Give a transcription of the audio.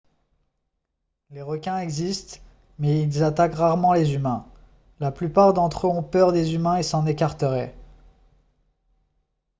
les requins existent mais ils attaquent rarement les humains la plupart d'entre eux ont peur des humains et s'en écarteraient